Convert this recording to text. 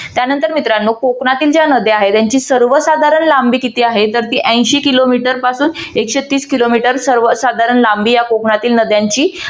त्यानंतर मित्रांनो कोकणातील ज्या नद्या आहेत. त्यांची सर्वसाधारण लांबी किती आहे? तर ती ऐंशी किलोमीटर पासून एकशे तीस किलोमीटर सर्वसाधारण लांबी या कोकणातील नद्यांची